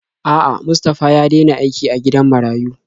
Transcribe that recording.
A'a, Mustafa ya dena aiki a gidan marayu.